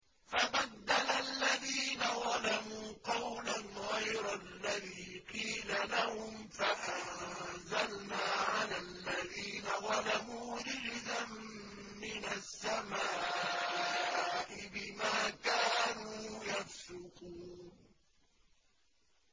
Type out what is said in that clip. فَبَدَّلَ الَّذِينَ ظَلَمُوا قَوْلًا غَيْرَ الَّذِي قِيلَ لَهُمْ فَأَنزَلْنَا عَلَى الَّذِينَ ظَلَمُوا رِجْزًا مِّنَ السَّمَاءِ بِمَا كَانُوا يَفْسُقُونَ